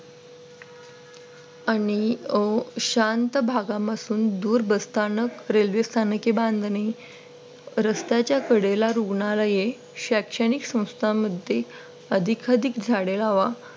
आणि अं शांत भागापासून दूर बसून बसताना रेल्वे स्थानके बांधणे रस्त्याच्या कडेला रुग्णालय शैक्षणिक संस्थांमध्ये अधिकाधिक झाडे लावा.